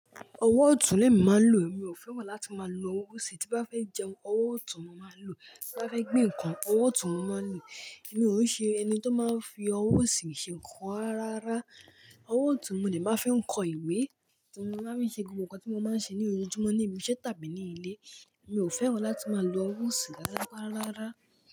Ọwọ́ ọ̀tún lẹ mi máa ń lò, èmi ò fẹ́wà láti máa lo owó sì. Tí bá fẹ́ jẹun, ọwọ́ ọ̀tún mo máa ń lò, tí bá fẹ́ gbe nǹkan, ọwọ́ ọ̀tún mo máa ń lò. Èmi ò ṣe ẹni tó máa ń fi owó osì ṣe nǹkan rárá. Ọwọ́ ọ̀tún mi ni màá ń fi kọ ìwé, tí mo má ń fe se gbogbo nǹkan tí mo máa ń ṣe ní ojújúmọ́ ní ibi iṣẹ́ tàbí ní ilé. Èmi ò fẹ́wà láti máa lo owó sì ráráárárá.